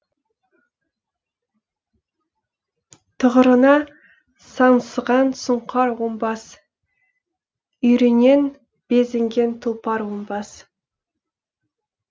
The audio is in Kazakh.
тұғырына саңсыған сұңқар оңбас үйірінен безінген тұлпар оңбас